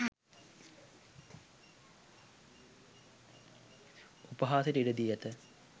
උපහාසයට ඉඩ දී ඇත